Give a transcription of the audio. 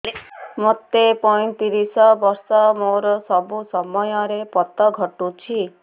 ମୋତେ ପଇଂତିରିଶ ବର୍ଷ ମୋର ସବୁ ସମୟରେ ପତ ଘଟୁଛି